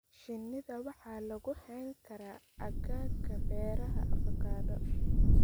Shinnida waxa lagu hayn karaa aagagga beeraha avocado.